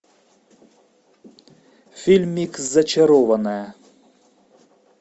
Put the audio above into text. фильмик зачарованная